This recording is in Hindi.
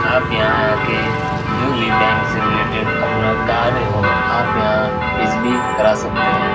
आप यहाँ आके जो भी बैंक से रिलेटेड अपना कार्य हो आप यहाँ इजिली करा सकते हैं।